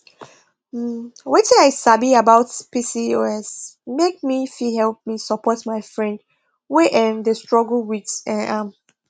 nh wetin i sabi about pcos make me fit help me support my friend wey um dey struggle with um am